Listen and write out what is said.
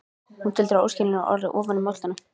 Hún tuldrar óskiljanleg orð ofan í moldina.